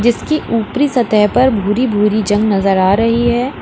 इसकी ऊपरी सतह पर भूरी भूरी जंग नजर आ रही है।